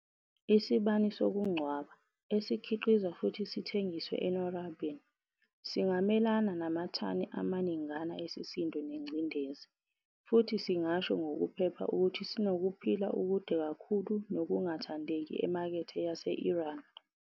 Isibani sokungcwaba, esikhiqizwa futhi sithengiswe enorabin, singamelana namathani amaningana esisindo nengcindezi, futhi singasho ngokuphepha ukuthi sinokuphila okude kakhulu nokungathandeki emakethe Yase-Iran.